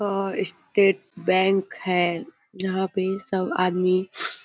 state bank है यहाँ पर सब आदमी --